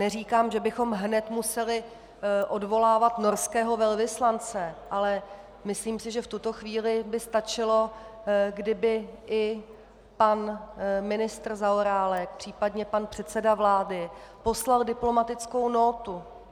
Neříkám, že bychom hned museli odvolávat norského velvyslance, ale myslím si, že v tuto chvíli by stačilo, kdyby i pan ministr Zaorálek, případně pan předseda vlády poslal diplomatickou nótu.